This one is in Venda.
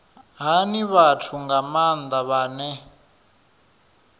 hani vhathu nga maanda vhane